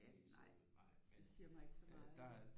Nej jeg det siger mig ikke så meget